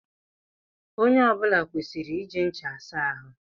Onye ọ bula kwesịrị iji ncha asa ahụ.